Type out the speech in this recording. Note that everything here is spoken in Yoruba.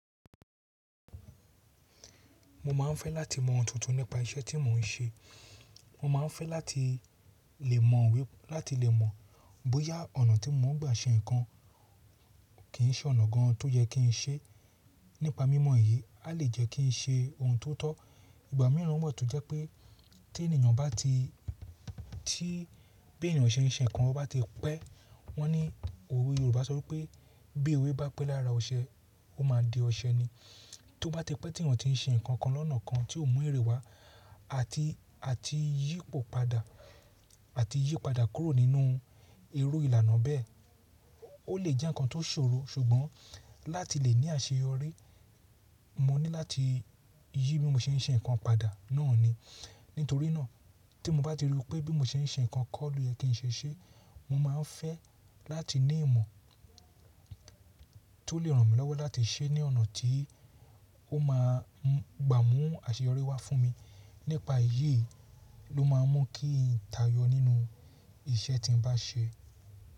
Mo máa ń fẹ́ láti mọ ohun tuntun nípa iṣẹ́ tí mò ń ṣe. Mo máa ń fẹ́ láti lè mọ̀ bóyá ọ̀nà tí mò ń gbà ṣe nǹkan kì í ṣe ọ̀nà gan tó yẹ kí n ṣe. Nípa mímọ̀ yìí, a lè jẹ́ kí n ṣe ohun tó tọ́. Ìgbà mìíràn wa tó jẹ́ pé tí ènìyàn bá ti, tí bí ènìyàn ṣe ń ṣe nǹkan bó bá ti pẹ́, wọ́n ní òwe Yorùbá sọ wípé “bí ewe bá pẹ́ lára ọṣẹ, ó máa di ọṣẹ ni.” Tó bá ti pẹ́ tí ènìyàn tí ń ṣe nǹkan kan lọ́nà kan tí ò mú èrè wá àti, àti yí padà kúrò nínú irò ìlànà bẹ́ẹ̀, ó lè jẹ́ nǹkan tó ṣòro. Ṣùgbọ́n láti lè ní àṣeyọrí, mo ní láti yí bí mo ṣe ń ṣe nǹkan padà náà ni. Nítorínà tí mo bá ti rò pé bí mo ṣe ń ṣe nǹkan kọ́ lòye kí n ṣe ṣe, mo máa ń fẹ́ láti ní ìmọ̀ tó lè ràn mí lọ́wọ́ láti ṣe é ní ọ̀nà tí ó máa gbà mú àṣeyọrí wá fún mi. Nípa èyí ló máa ń mú kí n táyọ nínú iṣẹ́ tí ń bá ṣe.